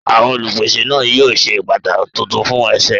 Àwọn olupese yíò sí ṣe bàtá títún fún èsè.